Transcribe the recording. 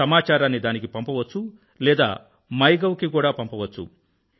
సమాచారాన్ని దానికీ పంపవచ్చు లేదా మైగోవ్ కీ పంపవచ్చు